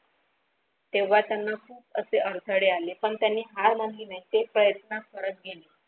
तेव्हा त्यांना असे अडथळे आले पण त्यांनी हार मानली नाही ते प्रयत्न करत घेतले.